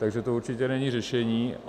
Takže to určitě není řešení.